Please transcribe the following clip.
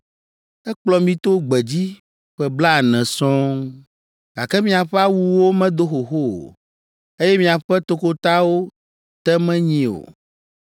Ekplɔ mi to gbedzi ƒe blaene sɔŋ, gake miaƒe awuwo medo xoxo o, eye miaƒe tokotawo te menyi o!